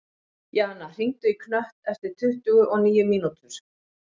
Jana, hringdu í Knött eftir tuttugu og níu mínútur.